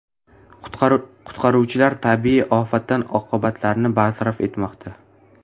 Qutqaruvchilar tabiiy ofat oqibatlarini bartaraf etmoqda.